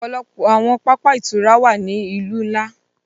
Ọpọlọpọ awọn pápá ìturá wa ni awọn ilu nla